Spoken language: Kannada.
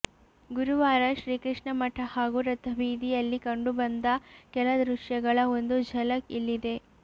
ಗುರುವಾರ ಶ್ರೀಕೃಷ್ಣ ಮಠ ಹಾಗೂ ರಥಬೀದಿಯಲ್ಲಿ ಕಂಡು ಬಂದ ಕೆಲ ದೃಶ್ಯಗಳ ಒಂದು ಝಲಕ್ ಇಲ್ಲಿದೆ